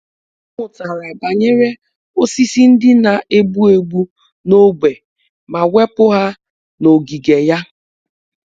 Ọ mụtara banyere osisi ndị na-egbu egbu n’ógbè ma wepụ ha n’ogige ya.